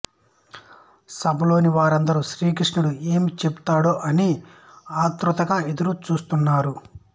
సభలోని వారందరూ శ్రీకృష్ణుడు ఏమి చెప్తాడో అని అతురతగా ఎదురు చూస్తున్నారు